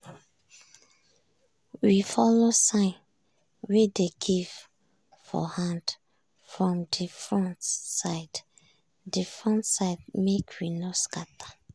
we follow sign wey dey give for hand from de front side de front side make we no scatter.